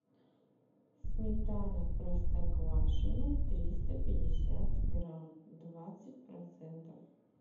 сметана простоквашино триста пятьдесят грамм двадцать процентов